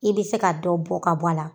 I bɛ se ka dɔ bɔn ka bɔ a la.